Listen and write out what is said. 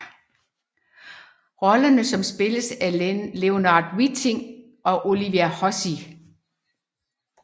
Rollerne som spilles af Leonard Whiting og Olivia Hussey